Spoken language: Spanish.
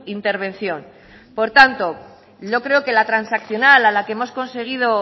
intervención por tanto no creo que la transaccional a la que hemos conseguido